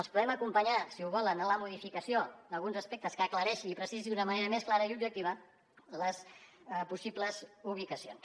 els podem acompanyar si ho volen en la modificació d’alguns aspectes que aclareixi i precisi d’una manera més clara i objectiva les possibles ubicacions